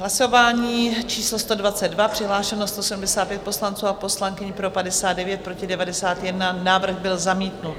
Hlasování číslo 122, přihlášeno 175 poslanců a poslankyň, pro 59, proti 91, návrh byl zamítnut.